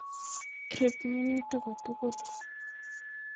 Riib minutik kotugul.